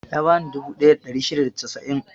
Ya bani dubu ɗaya da ɗari shida da casa'in.